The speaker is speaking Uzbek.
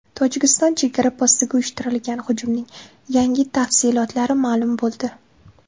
Tojikiston chegara postiga uyushtirilgan hujumning yangi tafsilotlari ma’lum bo‘ldi.